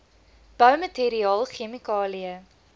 boumateriaal chemikalieë